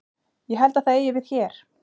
Ég held að það eigi við hér.